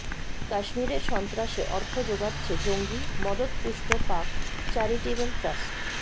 কাশ্মীরের সন্ত্রাসে অর্থ যোগাচ্ছে জঙ্গি মদতপুষ্ট পাক চ্যারিটেবল ট্রাস্ট